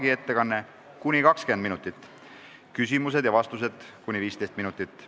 Tema ettekanne on kuni 20 minutit ning küsimused ja vastused kuni 15 minutit.